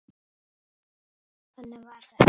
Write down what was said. Þannig var þetta.